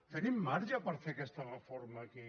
tenim marge per fer aquesta reforma aquí